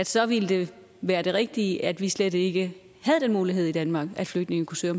så ville det være det rigtige at vi slet ikke havde den mulighed i danmark at flygtninge kunne søge